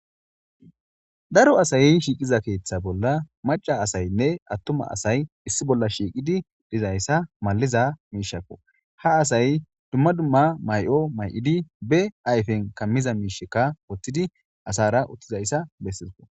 Daro asayi shiiqiza keeththa bolla maca asaynne attuma asay issi bolla shiiqidi dizayssa maliza miishakko ha asay dumma dumma may'o may'idi be ayfen kammiza miishekka wottidi asara uttizayssa bessizko.